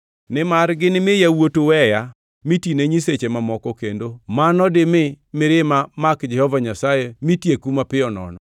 nimar ginimi yawuotu weya mitine nyiseche mamoko kendo mano dimi mirima mak Jehova Nyasaye mitieku mapiyo nono.